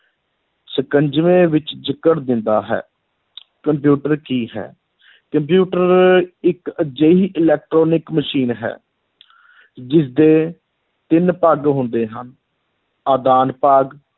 ਸ਼ਿਕੰਜਵੇਂ ਵਿੱਚ ਜਕੜ ਦਿੰਦਾ ਹੈ ਕੰਪਿਊਟਰ ਕੀ ਹੈ ਕੰਪਿਊਟਰ ਇ`ਕ ਅਜਿਹੀ electronic ਮਸ਼ੀਨ ਹੈ ਜਿਸਦੇ ਤਿੰਨ ਭਾਗ ਹੁੰਦੇ ਹਨ, ਆਦਾਨ ਭਾਗ,